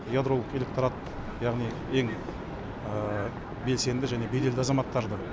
ядролық электорат яғни ең белсенді және беделді азаматтарды